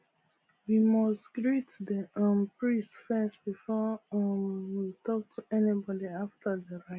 we must greet the um priest first before um we talk to anybody after the rite